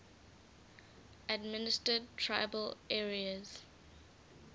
administered tribal areas